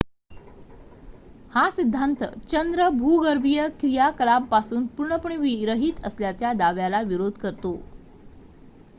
हा सिद्धांत चंद्र भूगर्भीय क्रियाकलापांपासून पूर्णपणे विरहित असल्याच्या दाव्याला विरोध करतो